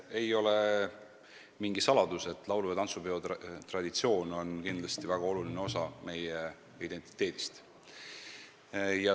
Ei ole mingi saladus, et laulu- ja tantsupeo traditsioon on kindlasti väga oluline osa meie identiteedist.